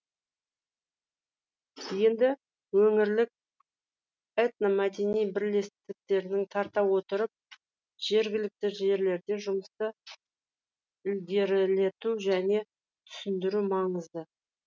енді өңірлік этномәдени бірлестіктерді тарта отырып жергілікті жерлерде жұмысты ілгерілету және түсіндіру маңызды